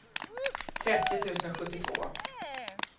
trettio tusen sjuttiotvå